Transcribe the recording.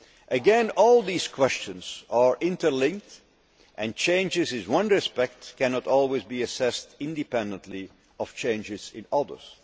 Again, all these questions are interlinked and changes in one respect cannot always be assessed independently of changes in others.